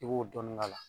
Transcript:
I b'o dɔɔnin k'a la